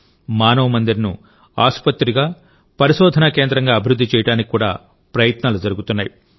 మానవ్ మందిర్ను ఆసుపత్రిగా పరిశోధనా కేంద్రంగా అభివృద్ధి చేయడానికి కూడా ప్రయత్నాలు జరుగుతున్నాయి